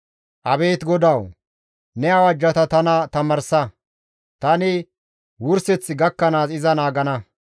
Abeet GODAWU! Ne awajjata tana tamaarsa; tani wurseththi gakkanaas iza naagana.